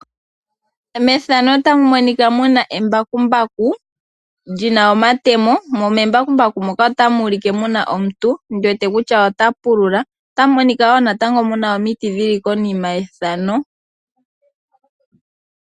Methano otamu monika muna embakumbaku lina omatemo, mo membakumbaku moka otamu ulike muna omuntu ndiwete kutya ota pulula. Otamu monika wo natango muna omiiti dhili konima yethano.